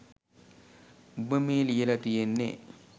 උඹ මේ ලියල තියෙන්නෙ